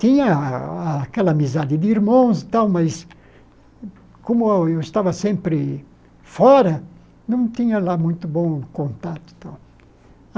Tinha a a aquela amizade de irmãos e tal, mas, como eu estava sempre fora, não tinha lá muito bom contato tal.